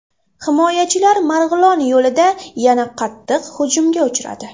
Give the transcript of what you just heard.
Himoyachilar Marg‘ilon yo‘lida yana qattiq hujumga uchradi.